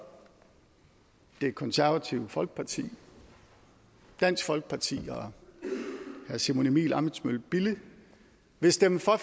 det konservative folkeparti dansk folkeparti og herre simon emil ammitzbøll bille vil stemme for